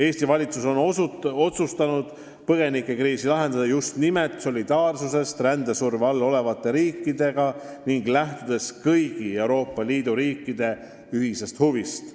Eesti valitsus on otsustanud põgenikekriisi lahendada just nimelt solidaarsusest rändesurve all olevate riikidega ning lähtudes kõigi Euroopa Liidu riikide ühisest huvist.